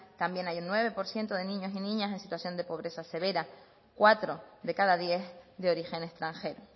también hay un nueve por ciento de niños y niñas en situación de pobreza severa cuatro de cada diez de origen extranjero